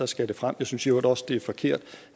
skal det frem jeg synes i øvrigt også at det er forkert